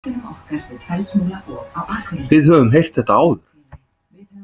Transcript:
Við höfum heyrt þetta áður.